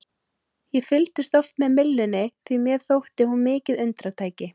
Ég fylgdist oft með myllunni því að mér þótti hún mikið undratæki.